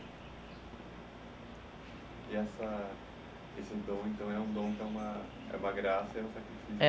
E essa esse dom então que é uma é uma graça, é um sacrifício?